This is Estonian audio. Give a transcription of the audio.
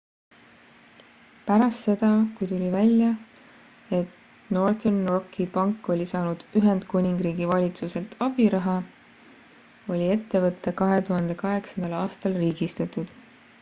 pärast seda kui tuli välja et northern rocki pank oli saanud ühendkuningriigi valitsuselt abiraha oli ettevõte 2008 aastal riigistatud